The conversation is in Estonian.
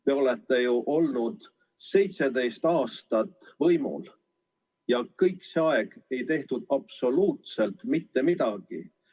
Te olete ju olnud 17 aastat võimul ja kogu see aeg ei tehtud absoluutselt midagi.